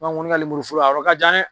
An kɔni ka lemuru foro a yɔrɔ ka jan dɛ.